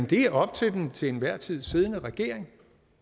det er op til den til enhver tid siddende regering